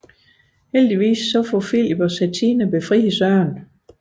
Heldigvis får Filip og Satina befriet Søren